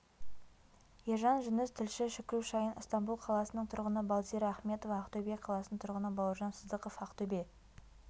ержан жүніс тілші шүкру шайын ыстамбұл қаласының тұрғыны балзира ахметова ақтөбе қаласының тұрғыны бауыржан сыздықов ақтөбе